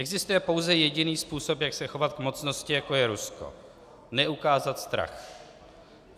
Existuje pouze jediný způsob, jak se chovat k mocnosti, jako je Rusko - neukázat strach.